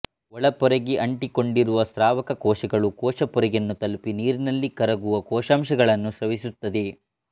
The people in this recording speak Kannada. ಒಳಪೊರೆಗೆಅಂಟಿಕೊಂಡಿರುವ ಸ್ರಾವಕ ಕೋಶಕಗಳು ಕೋಶ ಪೊರೆಯನ್ನು ತಲುಪಿ ನೀರಿನಲ್ಲಿ ಕರಗುವ ಕೊಶಾಂಶಗಳನ್ನು ಸ್ರವಿಸುತ್ತದೆ